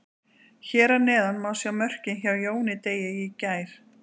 Hér að neðan má sjá mörkin hjá Jóni Degi í gær.